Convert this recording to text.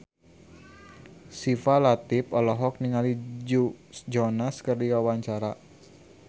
Syifa Latief olohok ningali Joe Jonas keur diwawancara